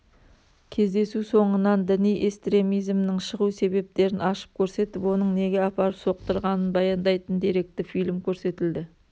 кездесу соңынан діни эстремизмнің шығу себептерін ашып көрсетіп оның неге апарып соқтырғанын баяндайтын деректі фильм көрсетілді